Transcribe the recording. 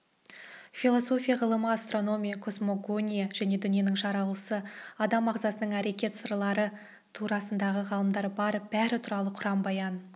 философия ғылымы астрономия космогония және дүниенің жаралысы адам ағзасының әрекет сырлары турасындағы ғылымдар бар бәрі туралы құран баян